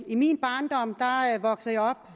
i min barndom voksede